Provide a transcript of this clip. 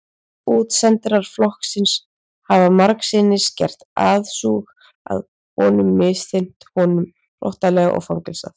Útsendarar flokksins hafa margsinnis gert aðsúg að honum misþyrmt honum hrottalega og fangelsað.